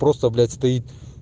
просто блять стоит